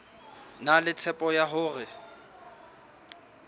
na le tshepo ya hore